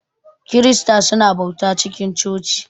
kirista su na bauta cikin coci.